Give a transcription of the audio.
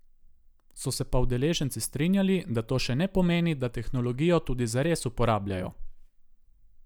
So se pa udeleženci strinjali, da to še ne pomeni, da tehnologijo tudi zares uporabljajo.